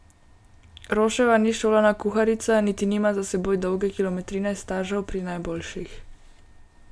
Roševa ni šolana kuharica, niti nima za seboj dolge kilometrine stažev pri najboljših.